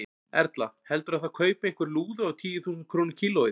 Erla: Heldurðu að það kaupi einhver lúðu á tíu þúsund krónur kílóið?